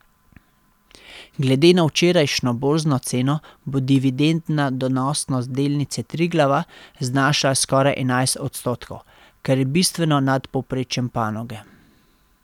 Glede na včerajšnjo borzno ceno bo dividendna donosnost delnice Triglava znašala skoraj enajst odstotkov, kar je bistveno nad povprečjem panoge.